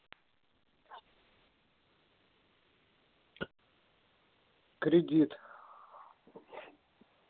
кредит